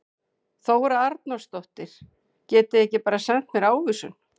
Þóra Arnórsdóttir: Getið þið ekki bara sent mér ávísun?